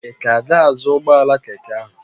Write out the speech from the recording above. Ị ka ga-azụ ụgbọala keke ahụ?